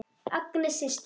Agnes systir.